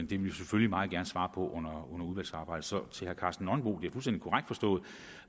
vil vi selvfølgelig meget gerne svare på under udvalgsarbejdet så til herre karsten nonbo vil